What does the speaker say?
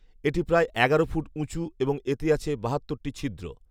এটি প্রায় এগারো ফুট উঁচু এবং এতে আছে বাহাত্তরটি ছিদ্র